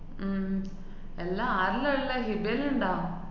ഉം എല്ലാ ആരെല്ലാള്ളെ? ഹിബേല് ണ്ടാ?